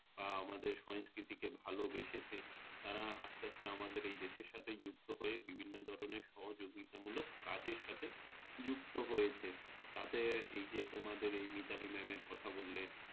বা আমাদের সংস্কৃতিকে ভালোবেসেছে তারা আস্তে আস্তে আমাদের এই দেশের সাথেই যুক্ত হয়ে বিভিন্ন ধরণের সহযোগিতামূলক কাজের সাথে যুক্ত হয়েছে তাতে এই যে তোমাদের Mitali Mam এর কথা বললে